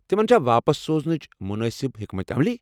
تمن چھا واپس سوزنٕچ مُنٲسِب حیكمت عملی ؟